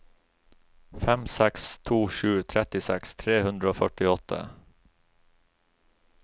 fem seks to sju trettiseks tre hundre og førtiåtte